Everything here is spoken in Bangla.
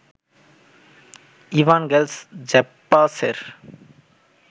ইভানগেলস জ্যাপ্পাসের